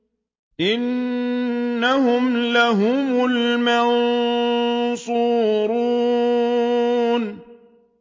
إِنَّهُمْ لَهُمُ الْمَنصُورُونَ